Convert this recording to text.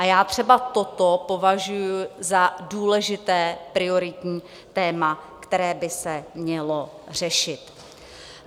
A já třeba toto považuji za důležité, prioritní téma, které by se mělo řešit.